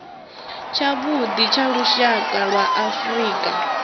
tshavhuḓi tsha lushaka lwa afrika